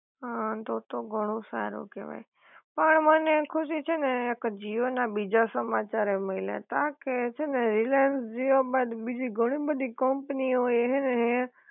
હા તો તો ઘણું સારું કેવાય, પણ મને ખુશી છે ને એક જીઓ ના બીજા સમાચાર એય મલ્યા તા કે રિલાયન્સ જીઓ બાદ બીજી ઘણી બધી કંપની ઑ એ હે ને હે